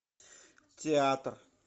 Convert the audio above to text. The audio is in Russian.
театр